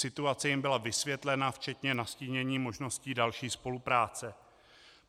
Situace jim byla vysvětlena, včetně nastínění možností další spolupráce.